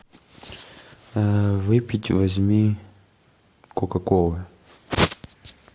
выпить возьми кока колы